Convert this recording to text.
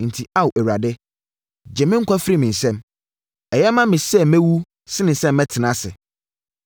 Enti Ao Awurade! Gye me nkwa firi me nsɛm. Ɛyɛ ma me sɛ mɛwu sene sɛ mɛtena ase.”